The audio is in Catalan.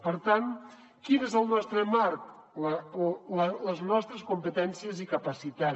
per tant quin és el nostre marc les nostres competències i capacitat